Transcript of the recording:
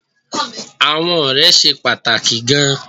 Àwọn ọ̀rẹ́ ṣe pàtàkì gan-an